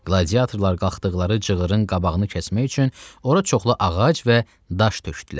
Qladiatorlar qalxdıqları cığırın qabağını kəsmək üçün ora çoxlu ağac və daş tökdülər.